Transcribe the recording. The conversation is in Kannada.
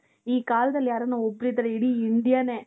ಈ ಕಾಲದಲ್ಲಿ ಯಾರಾನ ಒಬ್ಬರಿದ್ದರೆ ಇಡೀ Indiaನೆ .